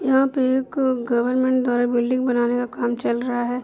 यहां पे एक गर्वमेंट द्वारा बिल्डिंग बनाने का काम चल रहा है।